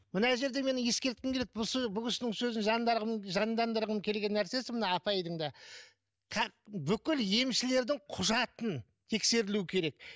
мына жерде мен ескерткім келеді бұл кісінің сөзін жандандырғым келген нәрсесі мына апайдың да бүкіл емшілердің құжатын тексерілу керек